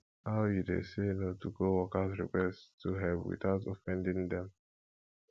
how you dey say no to coworkers request for help without offending dem